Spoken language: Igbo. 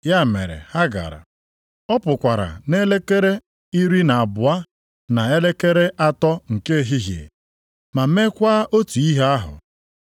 Ya mere ha gara. “Ọ pụkwara nʼelekere iri na abụọ na elekere atọ nke ehihie, ma meekwa otu ihe ahụ.